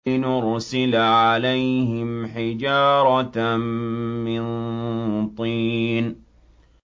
لِنُرْسِلَ عَلَيْهِمْ حِجَارَةً مِّن طِينٍ